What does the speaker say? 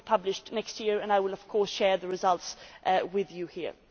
It will be published next year, and I will of course share the results with you here.